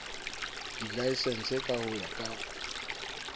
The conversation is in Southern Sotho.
dilaesense ka ho ya ka